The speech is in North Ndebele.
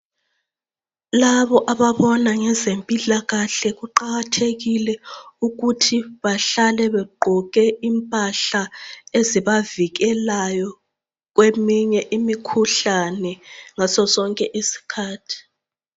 Labo ababona ngezempilakahle kuqakathekile ukuthi bahlale begqoke impahla ezibavikelayo kweminye imikhuhlane ngasosonke isikhathi.